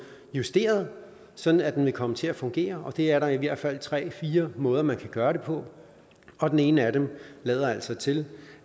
justeret sådan at den vil komme til at fungere og det er der i hvert fald tre fire måder man kan gøre det på og den ene af dem lader altså til